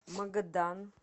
магадан